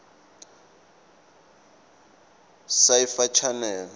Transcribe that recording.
sci fi channel